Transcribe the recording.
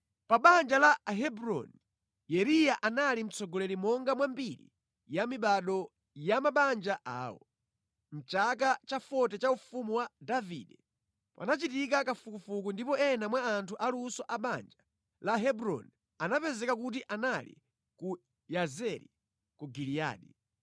Pa banja la Ahebroni, Yeriya anali mtsogoleri monga mwa mbiri ya mibado ya mabanja awo. Mʼchaka cha 40 cha ufumu wa Davide, panachitika kafukufuku ndipo ena mwa anthu aluso a banja la Hebroni anapezeka kuti anali ku Yazeri ku Giliyadi.